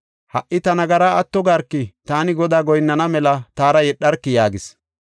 Ha77i ta nagaraa atto garki; taani Godaa goyinnana mela taara yedharki” yaagis.